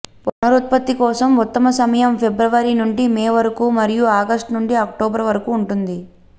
పునరుత్పత్తి కోసం ఉత్తమ సమయం ఫిబ్రవరి నుండి మే వరకు మరియు ఆగష్టు నుండి అక్టోబరు వరకు ఉంటుంది